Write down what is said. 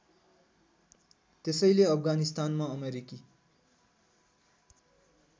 त्यसैले अफगानिस्तानमा अमेरिकी